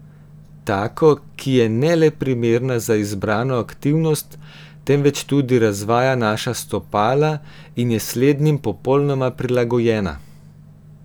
Tako, ki je ne le primerna za izbrano aktivnost, temveč tudi razvaja naša stopala in je slednjim popolnoma prilagojena.